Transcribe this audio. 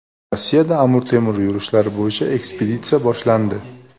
Rossiyada Amir Temur yurishlari bo‘yicha ekspeditsiya boshlandi.